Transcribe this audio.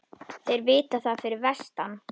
Þeir vita það fyrir vestan